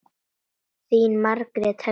Þín Margrét Helga.